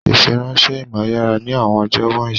Ìfiránṣẹ́ ìmọ̀ yára ní àwọn ọjọ́ wọ̀nyí